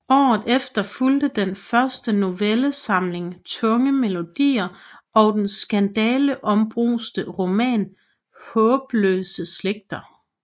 Året efter fulgte den første novellesamling Tunge melodier og den skandaleombruste roman Haabløse Slægter